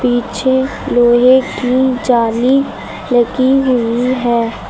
पीछे लोहे की जाली लगी हुई है।